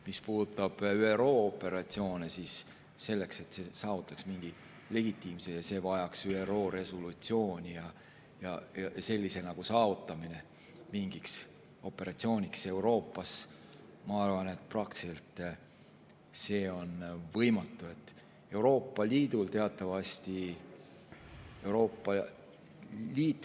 Mis puudutab ÜRO operatsioone, siis selleks, et see saavutaks mingi legitiimsuse, vajaks see ÜRO resolutsiooni ja selle saavutamine mingi operatsiooni jaoks Euroopas, ma arvan, on praktiliselt võimatu.